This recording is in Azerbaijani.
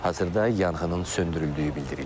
Hazırda yanğının söndürüldüyü bildirilir.